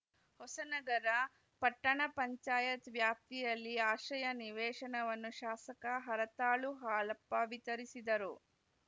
ಹೊಸನಗರ ಪಪಂ ವ್ಯಾಪ್ತಿಯಲ್ಲಿ ಆಶ್ರಯ ನಿವೇಶನವನ್ನು ಶಾಸಕ ಹರತಾಳು ಹಾಲಪ್ಪ ವಿತರಿಸಿದರು